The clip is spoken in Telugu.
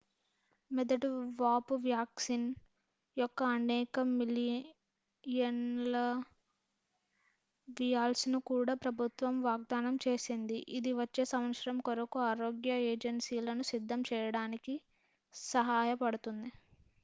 మెదడు వాపు వ్యాక్సిన్ యొక్క అనేక మిలియన్ ల వియాల్స్ను కూడా ప్రభుత్వం వాగ్ధానం చేసింది ఇది వచ్చే సంవత్సరం కొరకు ఆరోగ్య ఏజెన్సీలను సిద్ధం చేయడానికి సాయపడుతుంది